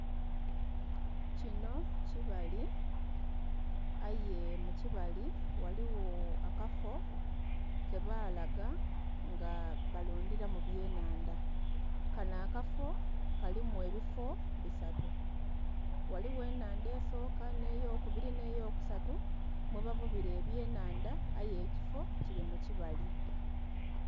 Kinho kibali aye mukibali ghaligho akafo kebalaga nga balundhiramu byennhandha, kanho akafo kalimu ebifo bisatu ghaligho ennhandha esoka, nheyo kubiri, nheyo kusatu mwebavubira ebyenhandha aye ekifo kiri mukibali.